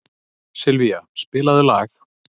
Sylvía, spilaðu lag.